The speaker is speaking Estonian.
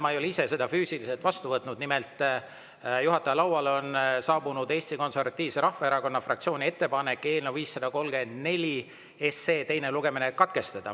Ma ei ole ise seda füüsiliselt vastu võtnud, aga juhataja lauale on saabunud Eesti Konservatiivse Rahvaerakonna fraktsiooni ettepanek eelnõu 534 teine lugemine katkestada.